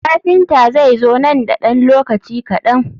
Kafinta zai zo nan da ɗan lokaci kaɗan.